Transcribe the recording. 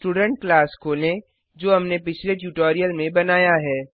student class खोलें जो हमनें पिछले ट्यूटोरियल में बनाया है